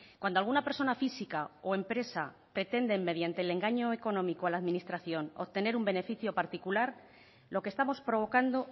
cuando alguna persona física o empresa pretenden mediante el engaño económico a la administración obtener un beneficio particular lo que estamos provocando